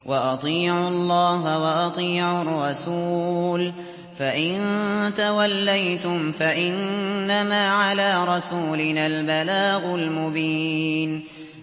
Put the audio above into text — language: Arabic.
وَأَطِيعُوا اللَّهَ وَأَطِيعُوا الرَّسُولَ ۚ فَإِن تَوَلَّيْتُمْ فَإِنَّمَا عَلَىٰ رَسُولِنَا الْبَلَاغُ الْمُبِينُ